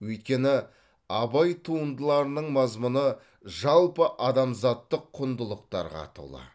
өйткені абай туындыларының мазмұны жалпыадамзаттық құндылықтарға толы